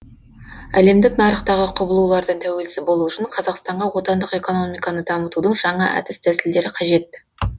әлемдік нарықтағы құбылулардан тәуелсіз болу үшін қазақстанға отандық экономиканы дамытудың жаңа әдіс тәсілдері қажет